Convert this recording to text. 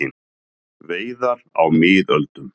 Veiðar á miðöldum.